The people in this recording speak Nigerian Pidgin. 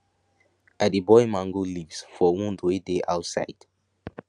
i dey boil mango leaves for wound wey dey outside